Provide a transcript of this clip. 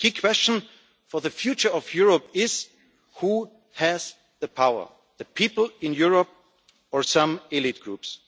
The key question for the future of Europe is who has the power? The people in Europe, or some elite groups?